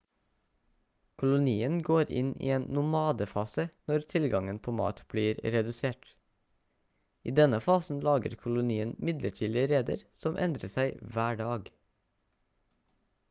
kolonien går inn i en nomadefase når tilgangen på mat blir redusert i denne fasen lager kolonien midlertidige reder som endrer seg hver dag